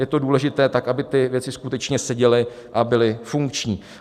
Je to důležité, tak aby ty věci skutečně seděly a byly funkční.